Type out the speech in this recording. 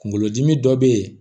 Kunkolodimi dɔ be yen